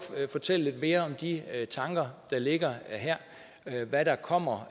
fortælle lidt mere om de tanker der ligger her hvad der kommer